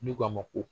N'u k'a ma ko